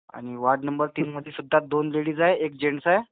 आणि ward number तीन मधी सुद्धा दोन लेडीज आहेत, एक जेन्ट्स आहे.